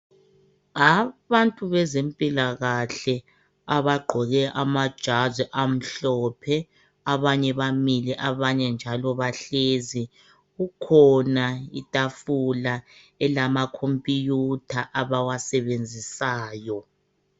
Abantu bezempilakahle abagqoke amajazi amhlophe abanye bamile abanye njalo bahlezi. Kukhona itafula elama computer abawasebenzisayo .